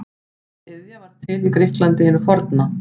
Þessi iðja varð til í Grikklandi hinu forna.